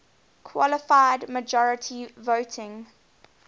qualified majority voting